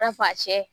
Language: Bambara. I n'a fɔ a cɛ